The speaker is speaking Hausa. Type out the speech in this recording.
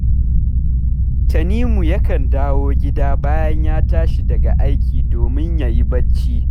Tanimu yakan dawo gida bayan ya tashi daga aiki domin ya yi barci